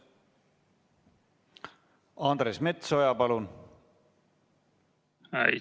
Andres Metsoja, palun!